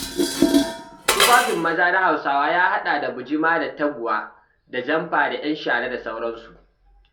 Tufafin maza na Husawa yahaɗa bujima da taguwa da jamfa da 'yan shara da sauransu.